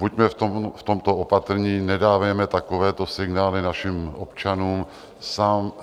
Buďme v tomto opatrní, nedávejme takovéto signály našim občanům.